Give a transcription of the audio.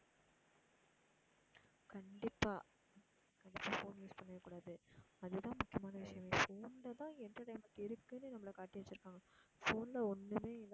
கண்டிப்பா கண்டிப்பா phone use பண்ணவே கூடாது. அதுதான் முக்கியமான விஷயமே phone ல தான் entertainment இருக்குன்னு நம்மல காட்டிவச்சிருக்காங்க phone ல ஒண்ணுமே இல்ல